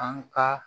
An ka